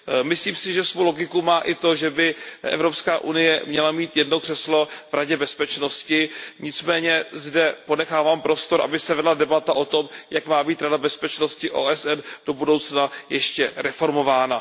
Myslím si, že svou logiku má i to, že by Evropská unie měla mít jedno křeslo v Radě bezpečnosti, nicméně zde ponechávám prostor, aby se vedla debata o tom, jak má být Rada bezpečnosti OSN do budoucna ještě reformována.